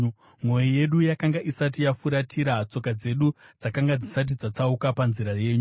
Mwoyo yedu yakanga isati yafuratira; tsoka dzedu dzakanga dzisati dzatsauka panzira yenyu.